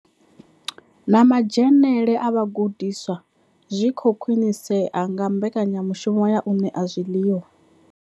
Na madzhenele a vhagudiswa zwi khou khwinisea nga mbekanya mushumo ya u ṋea zwiḽiwa.